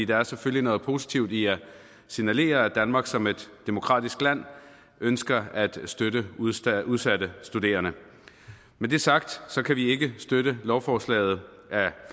der er selvfølgelig noget positivt i at signalere at danmark som et demokratisk land ønsker at støtte udsatte udsatte studerende med det sagt kan vi ikke støtte lovforslaget af